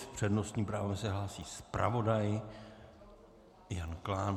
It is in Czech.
S přednostním právem se hlásí zpravodaj Jan Klán.